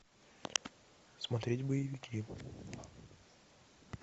смотреть боевики